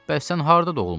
Bəs sən harda doğulmusan?